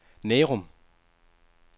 Nærum